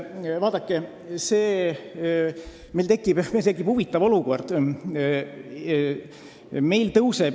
Vaadake, meil tekib huvitav olukord.